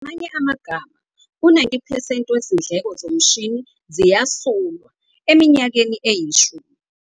Ngamanye amagama u-90 percent wezindleko zomshini ziyasulwa eminyakeni eyishumi.